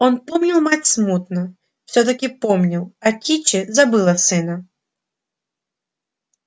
он помнил мать смутно всё таки помнил а кичи забыла сына